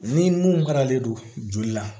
Ni mun faralen don joli la